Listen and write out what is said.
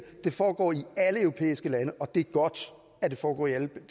foregår i alle europæiske lande og det er godt at det foregår i alle